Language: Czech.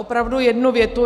Opravdu jednu větu.